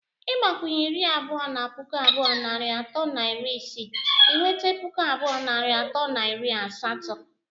Ịgbakwunye iri abụọ na puku abụọ narị atọ na iri isii, ị nweta puku abụọ narị atọ na iri asatọ.